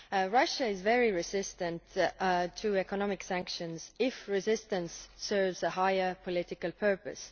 Russia is very resistant to economic sanctions if resistance serves a higher political purpose.